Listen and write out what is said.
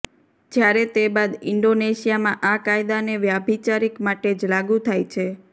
જ્યારે તે બાદ ઇન્ડોનેશિયામાં આ કાયદાને વ્યાભિચારિક માટે જ લાગૂ થાય છે